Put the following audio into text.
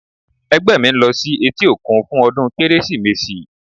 Ẹgbẹ́ mi ń lọ sí etí òkun fún ọdún Kérésìmesì.